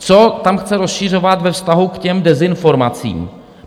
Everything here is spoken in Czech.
Co tam chce rozšiřovat ve vztahu k těm dezinformacím?